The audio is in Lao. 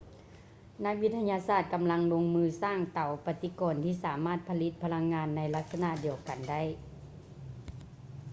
ນັກວິທະຍາສາດກຳລັງລົງມືສ້າງເຕົາປະຕິກອນທີ່ສາມາດຜະລິດພະລັງງານໃນລັກສະນະດຽວກັນໄດ້